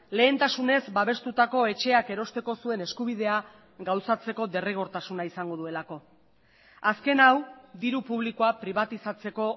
lehentasunez babestutako etxeak erosteko zuen eskubidea gauzatzeko derrigortasuna izango duelako azken hau diru publikoa pribatizatzeko